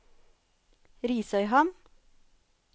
Risøyhamn